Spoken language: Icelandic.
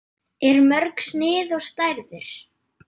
Eru mörg snið og stærðir?